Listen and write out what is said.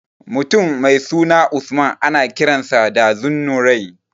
Mutum mai suna Usman ana kiransa da Zunnurain.